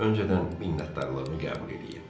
Öncədən minnətdarlığımı qəbul eləyin."